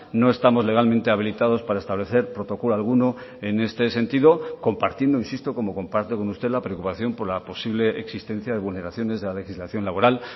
no estamos legalmente habilitados para establecer protocolo alguno en este sentido compartiendo insisto como comparto con usted la preocupación por la posible existencia de vulneraciones de la legislación laboral